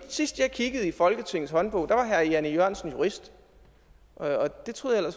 sidst jeg kiggede i folketingets håndbog var herre jan e jørgensen jurist det troede